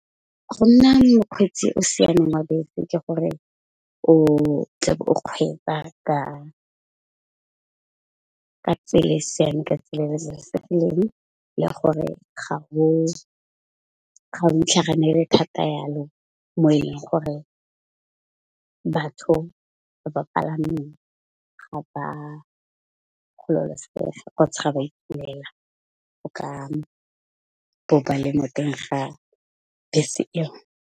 Go nna mokgweetsi o siameng wa bese ke gore o tle be o kgweetsa ka tsela e siame ka tsela le babalesegileng le gore ga go intlhaganele thata jalo mo e leng gore, batho ba ba palameng ga ba gololosega kgotsa ga ba itumela go ka ga bese eo.